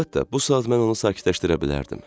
Əlbəttə, bu saat mən onu sakitləşdirə bilərdim.